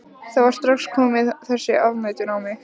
Það var strax komin þessi afneitun á mig.